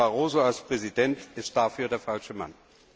Herr Barroso als Präsident ist dafür der falsche Mann!